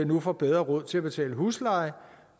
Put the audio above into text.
nu får bedre råd til at betale husleje